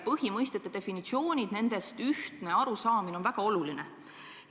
Põhimõistete definitsioonidest ühtne arusaamine on väga oluline.